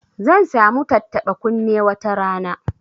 Zan sa mu tattaba kunne wata rana